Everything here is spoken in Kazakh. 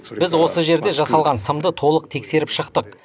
біз осы жерде жасалған сымды толық тексеріп шықтық